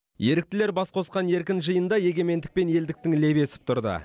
еріктілер бас қосқан еркін жиында егемендік пен елдіктің лебі есіп тұрды